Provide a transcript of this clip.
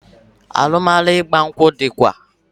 Alụmalụ ịgba nkwụ dịkwa